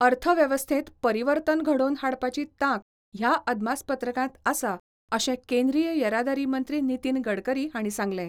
अर्थवेवस्थेंत परिवर्तन घडोवन हाडपाची तांक ह्या अदमासपत्रकांत आसा अशें केंद्रीय येरादारी मंत्री नितीन गडकरी हांणी सांगलें.